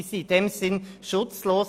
Sie sind in diesem Sinn schutzlos.